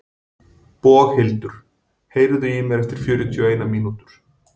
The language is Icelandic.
Boghildur, heyrðu í mér eftir fjörutíu og eina mínútur.